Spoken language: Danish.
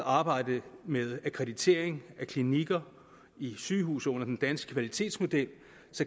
og arbejdet med akkreditering af klinikker i sygehuse under den danske kvalitetsmodel